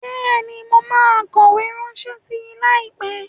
Bẹẹni, mo ma kowe rànse sí, laípe